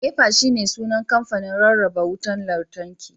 NEPA shine sunan kamfanin rarraba wutar lantarki